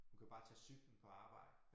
Hun kan bare tage cyklen på arbejde